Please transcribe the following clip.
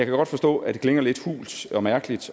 godt forstå at det klinger lidt hult og mærkeligt